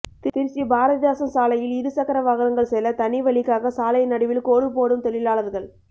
திருச்சி பாரதிதாசன் சாலையில் இருசக்கர வாகனங்கள் செல்ல தனி வழிக்காக சாலை நடுவில் கோடு போடும் தொழிலாளா்கள்